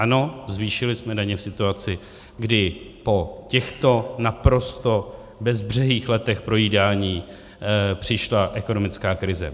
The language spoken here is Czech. Ano, zvýšili jsme daně v situaci, kdy po těchto naprosto bezbřehých letech projídání přišla ekonomická krize.